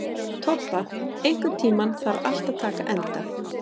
Tobba, einhvern tímann þarf allt að taka enda.